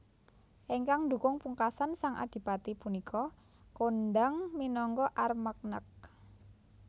Ingkang ndukung pungkasan sang Adipati punika kondhang minangka Armagnac